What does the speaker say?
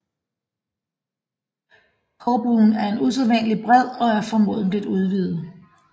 Korbuen er usædvanlig bred og er formodentlig udvidet